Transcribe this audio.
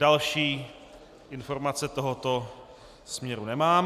Další informace tohoto směru nemám.